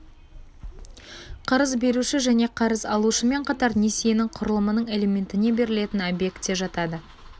қарыз беруші және қарыз алушымен қатар несиенің құрылымының элементіне берілетін объект де жатады